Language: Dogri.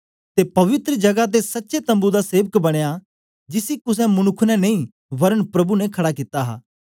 ते पवित्र जगा ते सच्चे तम्बू दा सेवक बनया जिसी कुसे मनुक्ख ने नेई वरन प्रभु ने खड़ा कित्ता हा